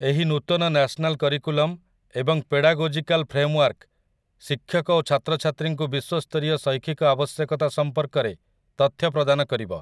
ଏହି ନୂତନ national curriculum ଏବଂ ପେଡାଗୋଜିକାଲ୍ ଫ୍ରେମ୍‌ୱାର୍କ ଶିକ୍ଷକ ଓ ଛାତ୍ରଛାତ୍ରୀଙ୍କୁ ବିଶ୍ୱସ୍ତରୀୟ ଶୈକ୍ଷିକ ଆବଶ୍ୟକତା ସମ୍ପର୍କରେ ତଥ୍ୟ ପ୍ରଦାନ କରିବ ।